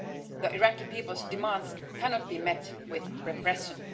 The Iraqi people's demands cannot be met with repression.